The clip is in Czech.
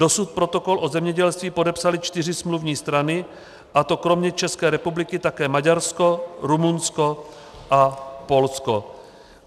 Dosud protokol o zemědělství podepsaly čtyři smluvní strany, a to kromě České republiky také Maďarsko, Rumunsko a Polsko.